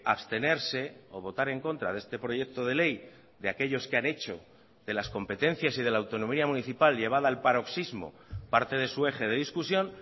abstenerse o votar en contra de este proyecto de ley de aquellos que han hecho de las competencias y de la autonomía municipal llevada al paroxismo parte de su eje de discusión